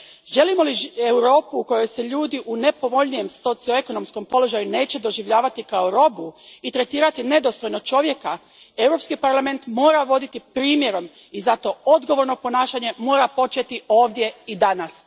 Želimo li Europu u kojoj se ljudi u nepovoljnijem socioekonomskom položaju neće doživljavati kao roba i tretirati nedostojno čovjeka, Europski parlament mora voditi primjerom i zato odgovorno ponašanje mora početi ovdje i danas.